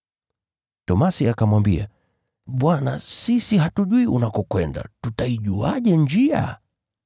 Tomaso akamwambia, “Bwana, sisi hatujui unakokwenda, tutaijuaje njia?”